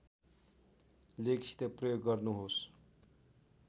लेखसित प्रयोग गर्नुहोस्